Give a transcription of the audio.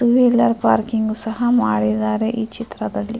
two wheeler parking ಸಹ ಮಾಡಿದ್ದಾರೆ ಈ ಚಿತ್ರದಲ್ಲಿ --